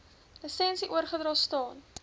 lisensie oorgedra staan